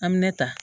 An bɛ ne ta